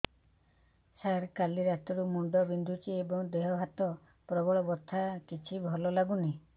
ସାର କାଲି ରାତିଠୁ ମୁଣ୍ଡ ବିନ୍ଧୁଛି ଏବଂ ଦେହ ହାତ ପ୍ରବଳ ବଥା କିଛି ଭଲ ଲାଗୁନି